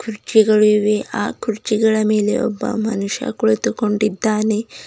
ಕುರ್ಚಿಗಳು ಇವೆ ಆ ಕುರ್ಚಿಗಳ ಮೇಲೆ ಒಬ್ಬ ಮನುಷ್ಯ ಕುಳಿತುಕೊಂಡಿದ್ದಾನೆ.